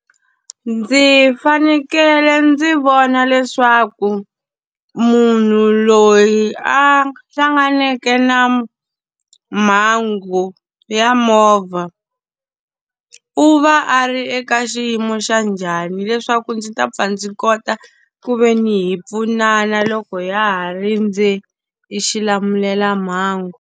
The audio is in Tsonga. Ndzi fanekele ndzi vona leswaku munhu loyi a hlanganeke na mhangu ya movha, u va a ri eka xiyimo xa njhani leswaku ndzi ta pfa ndzi kota ku ve ni hi pfunana loko ya ha rindze e xilamulelamhangu.